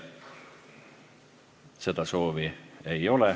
Seda soovi ei ole.